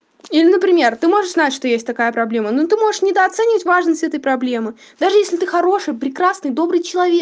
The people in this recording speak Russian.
или например ты можешь знать что есть такая проблема ну ты можешь недооценить важность этой проблемы даже если ты хороший прекрасный добрый человек